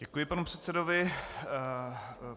Děkuji panu předsedovi.